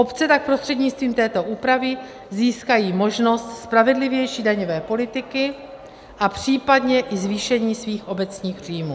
Obce tak prostřednictvím této úpravy získají možnost spravedlivější daňové politiky a případně i zvýšení svých obecních příjmů.